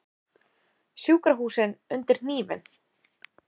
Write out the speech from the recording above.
Sjúkrahúsin undir hnífinn